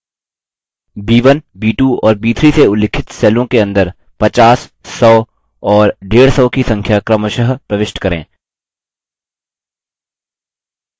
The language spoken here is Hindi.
b1 b2 और b3 से उल्लिखित सेलों के अंदर 50 100 और 150 की संख्या क्रमशः प्रविष्ट करें